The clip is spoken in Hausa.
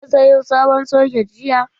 Na sayo sabon soket jiya.